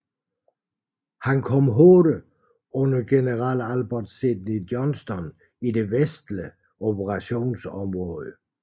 Han kom hurtigt under general Albert Sidney Johnston i det vestlige operationsområde